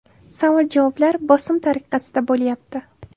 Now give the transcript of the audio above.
Savol-javoblar bosim tariqasida bo‘lyapti.